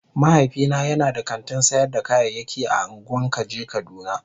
Mahaifina yana da kantin sayar da kayayyaki a ungwan kaje kaduna.